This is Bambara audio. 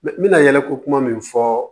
N bɛna yɛlɛ ko kuma min fɔ